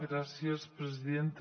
gràcies presidenta